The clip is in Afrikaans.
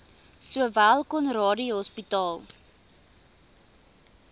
sowel conradie hospitaal